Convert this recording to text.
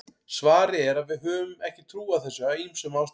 svarið er að við höfum ekki trú á þessu af ýmsum ástæðum